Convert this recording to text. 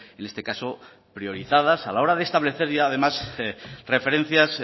en este caso priorizadas a la hora de establecer y además referencias